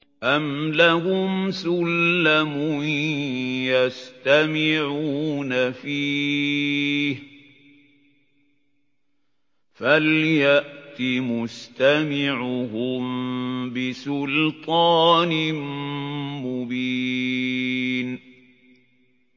أَمْ لَهُمْ سُلَّمٌ يَسْتَمِعُونَ فِيهِ ۖ فَلْيَأْتِ مُسْتَمِعُهُم بِسُلْطَانٍ مُّبِينٍ